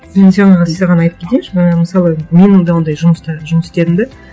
саған айтып кетейінші ы мысалы менің де ондай жұмыста жұмыс істедім де